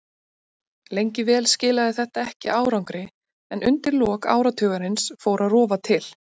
Lengi vel skilaði þetta ekki árangri en undir lok áratugarins fór að rofa til.